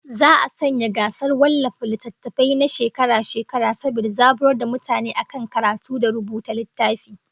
Za'a sanya gasar wallafa littattafai na shekara-shekara saboda zaburar da mutane akan karatu da rubuta littafi